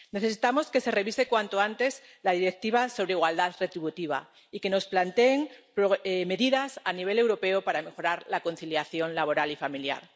Necesitamos que se revise cuanto antes la Directiva sobre igualdad retributiva y que nos planteen medidas a nivel europeo para mejorar la conciliación laboral y familiar.